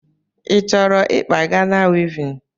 Ịchọrọ ịkpa Gana wivin?